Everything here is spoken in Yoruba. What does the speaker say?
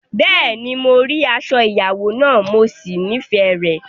Bẹ́ẹ̀ni, mo rí aṣọ ìyàwó náà, mo sì nífẹ̀ẹ́ rẹ̀.